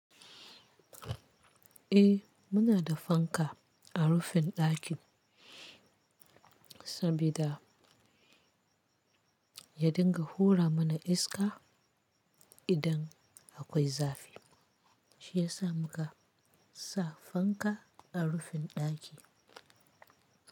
Eh muna da fanka a rufin dakin sabida ya dinga hura mana iska idan akwai zafi. Shi ya sa mu ka sa fanka a rufin daki.